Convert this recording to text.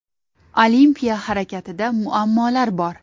Olimpiya harakatida muammolar bor.